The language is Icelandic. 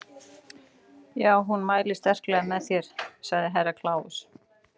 Já, hún mælir sterklega með þér, sagði Herra Kláus.